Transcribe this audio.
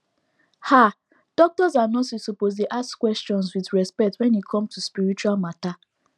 ah doctors and nurses suppose dey ask questions with respect wen e come to spiritual matter